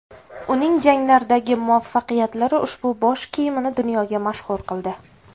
Uning janglardagi muvaffaqiyatlari ushbu bosh kiyimini dunyoga mashhur qildi.